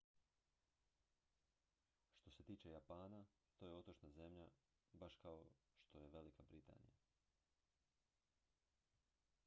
što se tiče japana to je otočna zemlja baš kao što je velika britanija